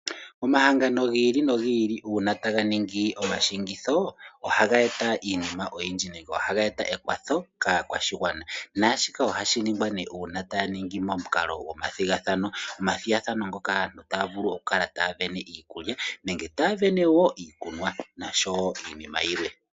Omahangano giili no giili uuna tanga ningi omashigitho, ohaga eta iinima oyindji nenge ekwatho olindji moshigwana naashika ohashi ningwa uuna ngele aantu taaningi omathigathano nopomathigathano ngaka aantu ohaavulu okukala taasindana iikulya, iikunwa nosho woo iinima yilwe.